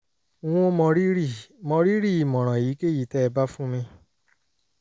n ó mọrírì mọrírì ìmọ̀ràn èyíkéyìí tẹ́ ẹ bá fún mi